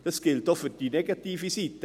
Dies gilt auch für die negative Seite;